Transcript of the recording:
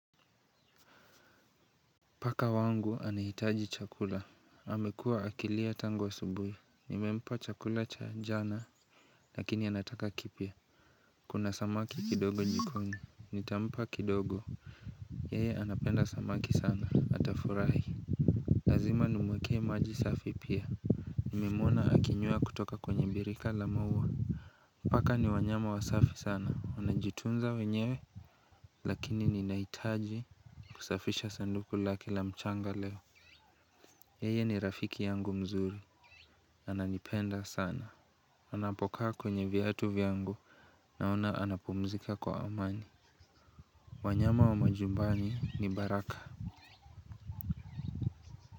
Paka wangu anahitaji chakula. Amekua akilia tangu asubuhi. Nimempa chakula cha jana. Lakini anataka kipya. Kuna samaki kidogo jikoni. Nitampa kidogo. Yeye anapenda samaki sana. Atafurahi. Lazima nimuekee maji safi pia. Nimemwona akinywea kutoka kwenye birika la maua. Paka ni wanyama wasafi sana. Unajitunza wenyewe. Lakini ninahitaji kusafisha sanduku lake la mchanga leo. Yeye ni rafiki yangu mzuri. Ananipenda sana. Anapokaa kwenye viatu vyangu naona anapumzika kwa amani. Wanyama wa majumbani ni baraka.